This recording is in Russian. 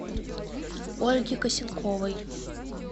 ольги косенковой